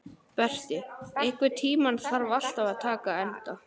Berti, einhvern tímann þarf allt að taka enda.